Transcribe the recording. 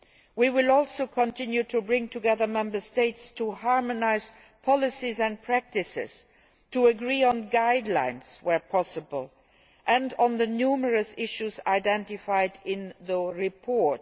We will also continue to bring together Member States to harmonise policies and practices and to agree on guidelines, where possible, and on the numerous issues identified in the report.